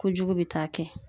Kojugu be taa kɛ